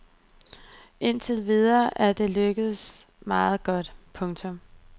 Indtil videre er det lykkedes meget godt. punktum